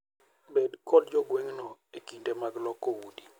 Bed kod jo gweng'no e kinde mag loko udi.